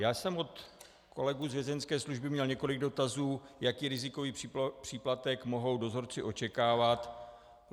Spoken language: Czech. Já jsem od kolegů z Vězeňské služby měl několik dotazů, jaký rizikový příplatek mohou dozorci očekávat.